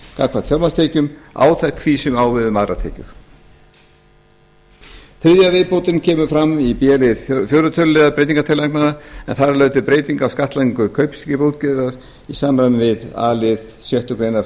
gagnvart fjármagnstekjum áþekk því sem á við um aðrar tekjur þriðja viðbótin kemur fram í b lið fjórða tölulið breytingartillagnanna en þar er lögð til breyting á skattlagningu kaupskipaútgerðar til samræmis við a lið sjöttu greinar